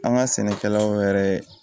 An ka sɛnɛkɛlaw yɛrɛ